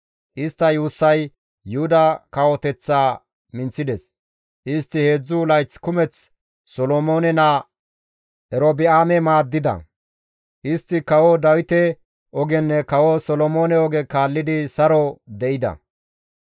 Istta yuussay Yuhuda kawoteththaa minththides; istti heedzdzu layth kumeth Solomoone naa Erobi7aame maaddida; istti Kawo Dawite ogenne kawo Solomoone oge kaallidi saro de7ida.